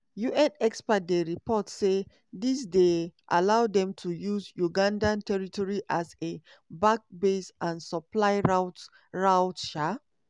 un experts dey report say dis dey allow dem to use uganda territory as a back base and supply route. route. um